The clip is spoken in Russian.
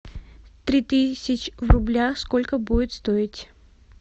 три тысячи в рублях сколько будет стоить